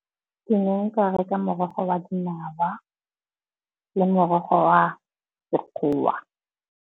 Ke ne nka reka morogo wa dinawa le morogo wa sekgowa.